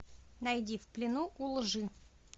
найди в плену у лжи